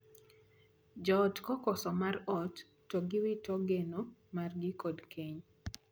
Joot kokoso mor mar ot to giwito geno margi kod keny.